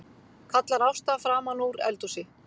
kallar Ásta framanúr eldhúsi.